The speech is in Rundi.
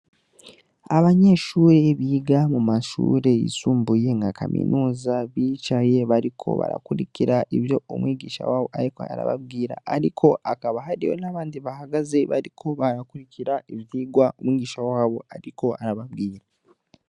Abanyeshure biga mumashure yisumbuye nka kaminuza bicaye bariko barakurikira ivyo umwigisha wabo ariko arababwira, ariko hakaba hariyo n’abandi bahagaze bariko barakurikira ivyigwa mwigisha wabo ariko arababwira.